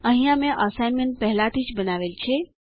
અહીંયા મેં અસાઇનમેન્ટ પહેલાથી જ બનાવેલ છે